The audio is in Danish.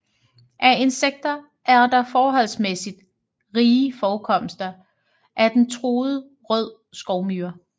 Af insekter er der forholdsmæssigt rige forekomster af den truede rød skovmyre